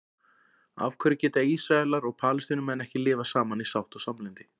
af hverju geta ísraelar og palestínumenn ekki lifað saman í sátt og samlyndi